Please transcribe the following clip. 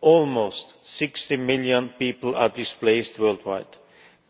Almost 60 million people are displaced worldwide.